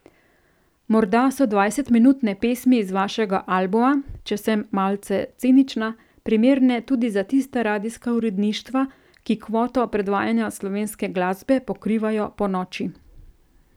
Morda so dvajsetminutne pesmi z vašega albuma, če sem malce cinična, primerne tudi za tista radijska uredništva, ki kvoto predvajanja slovenske glasbe pokrivajo ponoči.